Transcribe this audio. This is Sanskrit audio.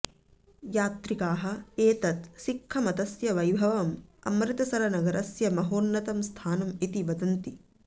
यात्रिकाः एतत् सिख्खमतस्य वैभवम् अमृतसरनगरस्य महोन्नतं स्थानम् इति वदन्ति